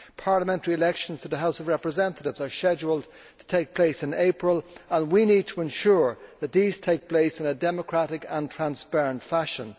Parliamentary elections to the House of Representatives are scheduled to take place in April, and we need to ensure that these take place in a democratic and transparent fashion.